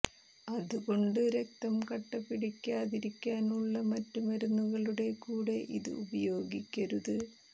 അത് കൊണ്ട് രക്തം കട്ടപിടിക്കാതിരിക്കാനുള്ള മറ്റ് മരുന്നുകളുടെ കൂടെ ഇത് ഉപയോഗിക്കരുത്